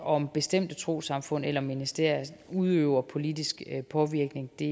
om bestemte trossamfund eller ministerier udøver politisk påvirkning det